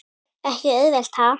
Ekki auðvelt ha?